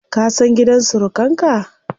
Ka san gidan surukan ka?